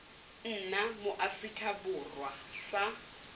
nna mo aforika borwa sa